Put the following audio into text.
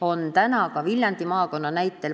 Toon näite Viljandi maakonnast.